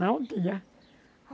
Não tinha.